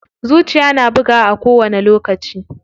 Zuciya na bugawa a kowani lokaci.